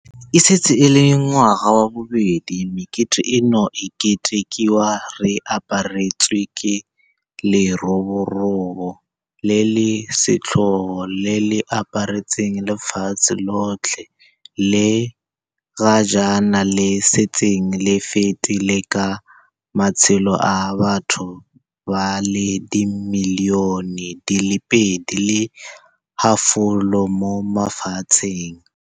E setse e le ngwaga wa bobedi mekete eno e ketekiwa re aparetswe ke leroborobo le le setlhogo le le aparetseng lefatshe lotlhe le ga jaana le setseng le fetile ka matshelo a batho ba le dimilione di le pedi le halofo mo lefatsheng.